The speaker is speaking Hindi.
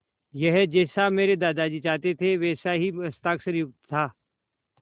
यह जैसा मेरे दादाजी चाहते थे वैसा ही हस्ताक्षरयुक्त था